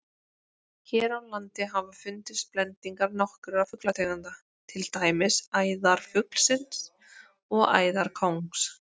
Hér á landi hafa fundist blendingar nokkurra fuglategunda, til dæmis æðarfugls og æðarkóngs.